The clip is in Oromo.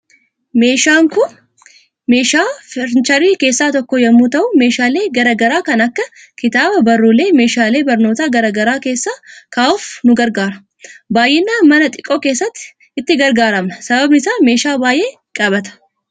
Meeshaan Kun meeshaa farniicherii keessaa tokko yommuu ta'u meeshaalee garaa garaa kan akka kitaaba ,barruulee , meeshaalee barnoota garaa garaa kessa kaahuuf nu gargaara. Baay'inaan mana xiqqoo keessatti itti gargaaramna sababiin isaa meeshaa baay'ee qabata.